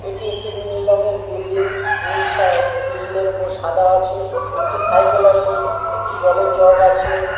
এটি একটি নীল রঙের বিল্ডিং নীল সা-আ নীলের উপর সাদা আছে একটি সাইকেল আছে একটি জলের জগ আছে ।